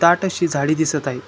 दाट अशी झाडी दिसत आहेत.